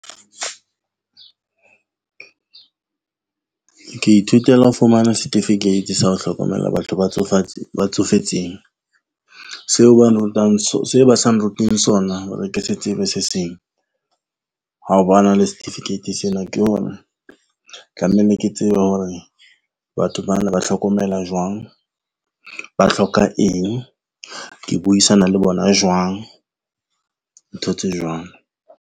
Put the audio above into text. Ke ithutela ho fumana setifikeiti sa ho hlokomela batho ba ba tsofetseng seo ba sa nruteng sona hore ke se tsebe se seng, ha ba na le certificate sena ke hore tlameile ke tsebe hore batho bana ba tlhokomela jwang, ba hloka eng, ke buisana le bona jwang ntho tse jwang.